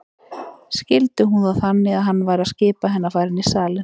Skildi hún það þannig að hann væri að skipa henni að fara inn í salinn?